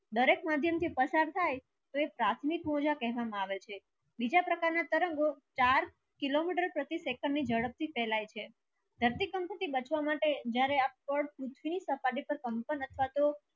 દરેક મધ્ય થી પસાર થાય તે પ્રથમિક મુલ્યા કહેવમા આવે છે બીજા પ્રકાર ના તરંગો ચાર કિલોમીટર પ્રતિ second ની જડપ થી ફલયે છે ધરતીકંપ થી બચવા સાથ જ્યારે આપડે